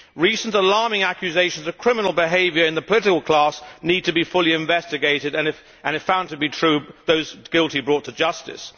Recent alarming accusations of criminal behaviour in the political class need to be fully investigated and, if found to be true, those guilty brought to justice.